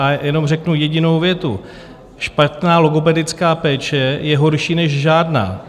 A jenom řeknu jedinou větu: Špatná logopedická péče je horší než žádná.